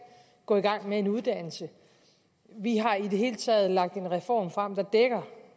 gå i gang med en uddannelse vi har i det hele taget lagt en reform frem der dækker